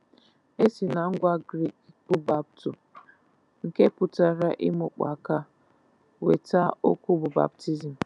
E si na ngwaa Grik bụ́ baʹpto, nke pụtara 'imikpu aka' nweta okwu bụ́ “ baptizim .”